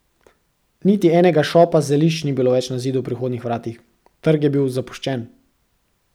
Niti enega šopa zelišč ni bilo več na zidu pri vhodnih vratih, trg je bil zapuščen.